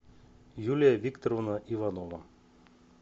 юлия викторовна иванова